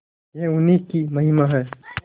यह उन्हीं की महिमा है